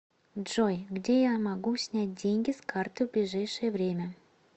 джой где я могу снять деньги с карты в ближайшее время